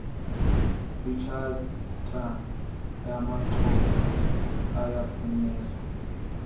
kwitshatha yamaxhoba ayaphunyezwa